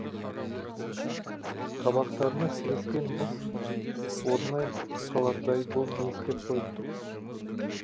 қабақтарына сірескен мұз орнай қалардай бұл не істеп қойыпты